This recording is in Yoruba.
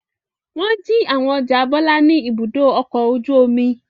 Wọ́n jí àwọn ọjà Bọ́lá ní Ibùdó-ọkọ̀ ojú-omi?